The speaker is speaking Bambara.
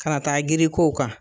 Kana taa girin kow kan.